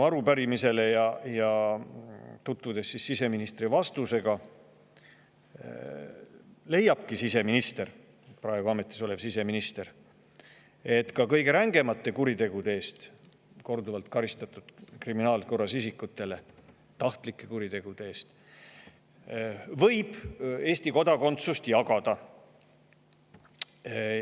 Kui ma tutvusin siseministri vastusega minu arupärimisele, praegu ametis olev siseminister leiabki, et ka kõige rängemate tahtlike kuritegude eest korduvalt kriminaalkorras karistatud isikutele võib Eesti kodakondsust jagada.